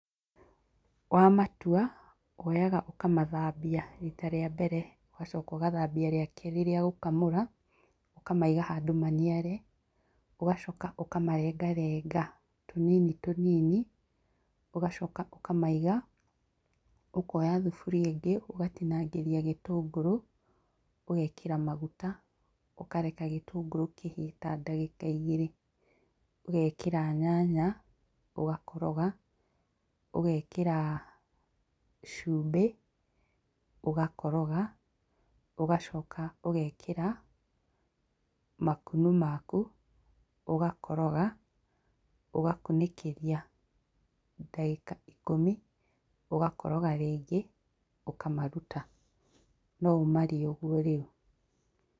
Wamatua, woyaga ũkamathambia rita rĩa mbere, ũgacoka ũgathambia rĩa kerĩ rĩa gũkamũra, ũkamaiga handũ maniare. Ũgacoka ũkamarengarenga tũnini tũnini, ũgacoka ũkamaiga. Ũkoya thuburia ĩngĩ ũgatinangĩria gĩtũngũrũ, ũgekĩra maguta, ũkareka gĩtũngũrũ kĩhĩe ta ngagĩka igĩrĩ. Ũgekĩra nyanya, ũgakoroga, ũgekĩra cũmbĩ, ũgakoroga, ũgacoka ũgekĩra makunũ maku, ũgakoroga, ũgakũnĩkĩria ndagĩka ikũmi, ũgakoroga rĩngĩ, ũkamaruta. No ũmarĩe ũguo rĩu.